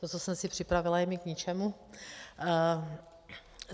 To, co jsem si připravila, je mi k ničemu.